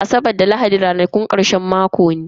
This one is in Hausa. Asabar da lahadi ranakun karshen mako ne.